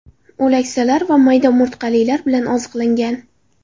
O‘laksalar va mayda umurtqalilar bilan oziqlangan.